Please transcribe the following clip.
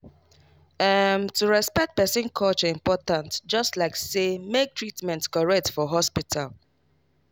ehm to respect person culture important just like say make treatment correct for hospital.